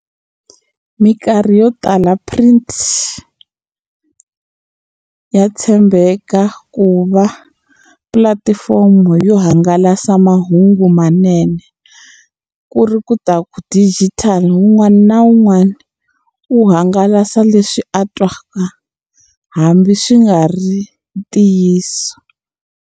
Mikarhi yo tala print ya tshembeka ku va pulatifomo yo hangalasa mahungu manene ku ri ku ta ku digital un'wana na un'wana u hangalasa leswi a twaka hambi swi nga ri ntiyiso.